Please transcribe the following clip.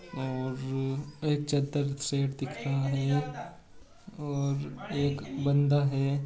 और एक चार सेट दिख रहा है और एक बंदा है।